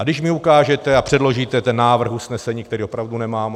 A když mi ukážete a předložíte ten návrh usnesení, který opravdu nemám.